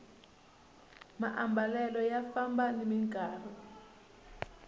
maambalelo ya famba nimi nkarhi